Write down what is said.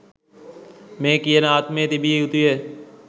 මේ කියන ආත්මය තිබිය යුතුය.